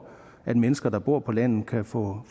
at mennesker der bor på landet kan få